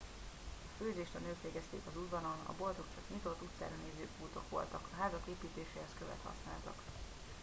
a főzést a nők végezték az udvaron a boltok csak nyitott utcára néző pultok voltak a házak építéséhez követ használtak